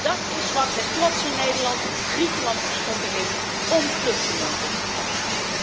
Dat is wat het trotse Nederland Griekenland geschonken heeft om vluchtelingen op te vangen!